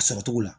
A sɔrɔ cogo la